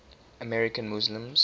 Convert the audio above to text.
american muslims